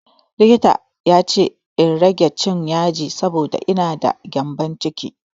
Likita ya ce in rage cin yaji saboda ina da gyambon ciki.